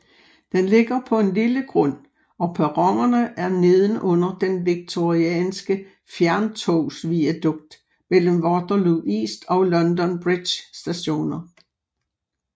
Den ligger på en lille grund og perronerne er nedenunder den Victorianske fjerntogsviadukt mellem Waterloo East og London Bridge Stationer